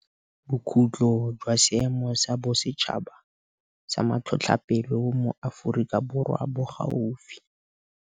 Bokhutlo jwa Seemo sa Bosetšhaba sa Matlhotlhapelo mo Aforika Borwa bo gaufi.